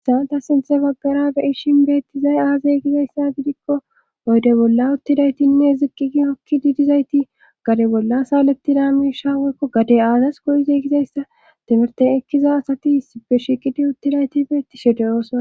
Hayssan ta sinthe babgara beyishin beettizay aazey gizayssa bidikko oyde bolla uttidaytinne ziqqigi okki didizayti gade bolla saalettida miisha woykko gade aazas go7izey gizayssa timirten ekkiza asati sibe shiqidi uttidayti beetti shedeyoosona.